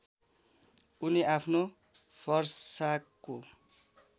उनी आफ्नो फरसाको